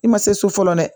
I ma se so fɔlɔ dɛ